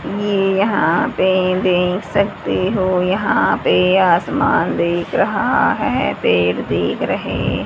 ये यहां पे देख सकते हो यहां पे आसमान देख रहा है। पेड़ देख रहे--